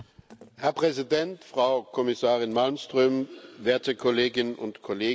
Herr Präsident, Frau Kommissarin Malmström, werte Kolleginnen und Kollegen!